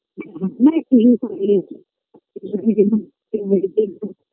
অনেক কিছু খাইয়েছে